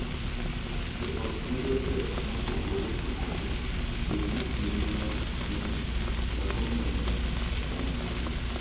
Jo ot yudo pek mopogore opogore, bed ni gin mag chuny, mag omenda, kata mag thieth.